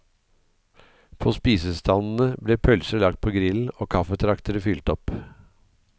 På spisestandene ble pølser lagt på grillen og kaffetraktere fylt opp.